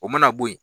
O mana bo ye